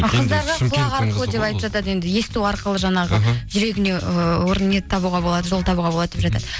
а қыздарға құлақ арқылы деп айтып жатады енді есту арқылы жаңағы іхі жүрегіне ыыы орын не табуға болады жол табуға болады деп жатады